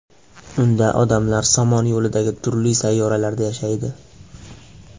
Unda odamlar Somon yo‘lidagi turli sayyoralarda yashaydi.